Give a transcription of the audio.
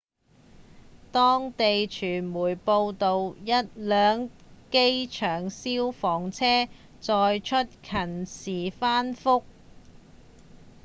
當地媒體報導一輛機場消防車在出勤時翻覆